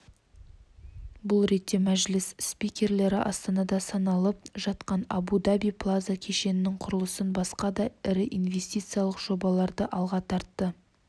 бұл ретте мәжіліс спикерлері астанада салынып жатқан абу даби плаза кешенінің құрылысын басқа да ірі инвестициялық жобаларды алға тартты